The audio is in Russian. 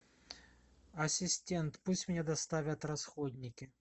ассистент пусть мне доставят расходники